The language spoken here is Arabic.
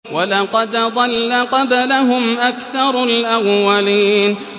وَلَقَدْ ضَلَّ قَبْلَهُمْ أَكْثَرُ الْأَوَّلِينَ